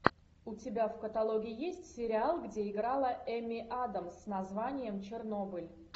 у тебя в каталоге есть сериал где играла эми адамс с названием чернобыль